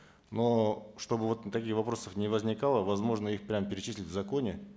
но чтобы вот таких вопросов не возникало возможно их прямо перечислить в законе